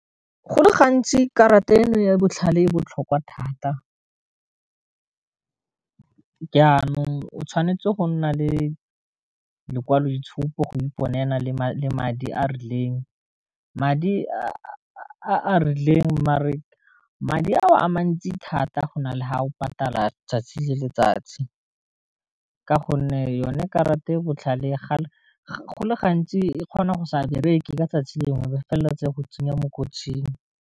Go le gantsi karata eno ya botlhale e botlhokwa thata, jaanong o tshwanetse go nna le lekwaloitshupo go iponela le madi a rileng madi a rileng mare madi a o a mantsi thata go na le ha o patala tsatsi le letsatsi, ka gonne yone karata e botlhale ya go le gantsi e kgona go sa bereke ka tsatsi lengwe ba felelela tse go tsenya mo kotsing.